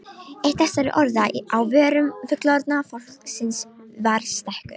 Eitt þessara orða á vörum fullorðna fólksins var stekkur.